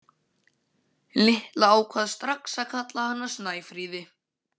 Lilla ákvað strax að kalla hana Snæfríði.